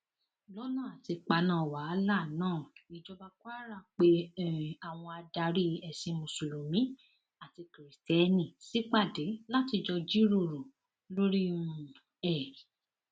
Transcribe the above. lọnà àti paná wàhálà náà ìjọba kwara pé um àwọn adarí ẹsìn mùsùlùmí àti kristẹni ṣípàdé láti jọ jíròrò lórí um ẹ